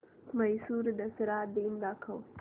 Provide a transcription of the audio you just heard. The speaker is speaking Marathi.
म्हैसूर दसरा दिन दाखव